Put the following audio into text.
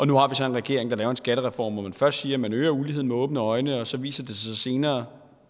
nu har vi så en regering der laver en skattereform hvor man først siger at man øger uligheden med åbne øjne og så viser det sig senere